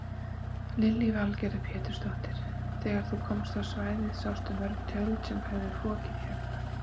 Lillý Valgerður Pétursdóttir: Þegar þú komst á svæðið sástu mörg tjöld sem höfðu fokið hérna?